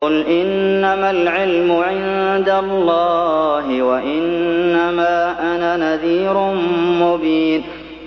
قُلْ إِنَّمَا الْعِلْمُ عِندَ اللَّهِ وَإِنَّمَا أَنَا نَذِيرٌ مُّبِينٌ